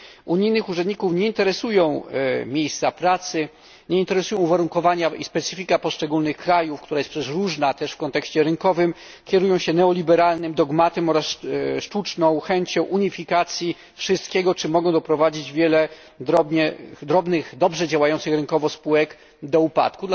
Unijnych urzędników nie interesują miejsca pracy, nie interesują ich uwarunkowania i specyfika poszczególnych krajów, która jest przecież różna też w kontekście rynkowym kierują się neoliberalnym dogmatem oraz sztuczną chęcią unifikacji wszystkiego, czym mogą doprowadzić wiele drobnych, dobrze działających rynkowo spółek do upadku.